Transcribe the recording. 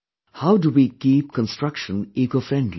How do we keep construction eco friendly